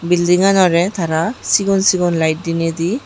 bilding anore tara sigon sigon lite dineidi.